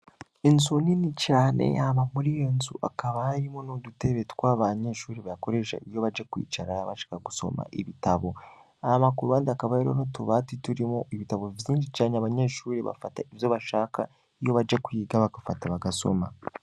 Inzu nini cane hama muri iyi nzu hakaba harimwo n'udutebe tw'abanyeshuri bakoresha iyo baje kwicara bashaka gusoma ibitabo, hama ku ruhande hakaba hariho n'utubati turimwo ibitabo vyinshi cane, abanyeshuri bafata ivyo bashaka iyo baje kwiga bagafata bagasoma.